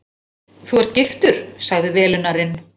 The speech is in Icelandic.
Þú ert giftur? sagði velunnarinn.